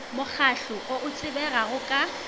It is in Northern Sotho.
mokgahlo o o tsebegago ka